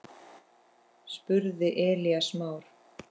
spurði Elías Mar.